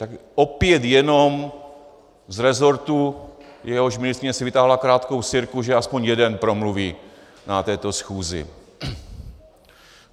Tak opět jenom z resortu, jehož ministryně si vytáhla krátkou sirku, že aspoň jeden promluví na této schůzi.